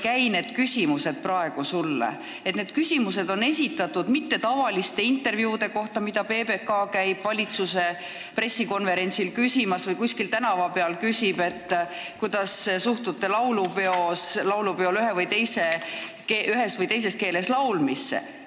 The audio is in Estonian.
Need küsimused ei ole esitatud tavaliste intervjuude kohta, mida PBK käib valitsuse pressikonverentsil küsimas, või selle kohta, kui nad kuskil tänava peal küsivad, kuidas suhtute laulupeol ühes või teises keeles laulmisse.